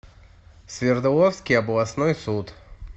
свердловский областной суд